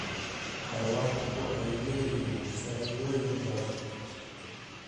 Xayawaanku waxay leeyihiin faa'iidooyin badan.